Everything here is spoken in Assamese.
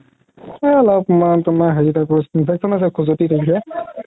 এই অলপমান হেৰি type ৰ infection আছে খোজতি তেনেকে